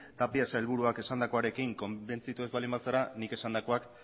tapia sailburuak esandakoarekin konbentzitu ez baldin bazara nik esandakoak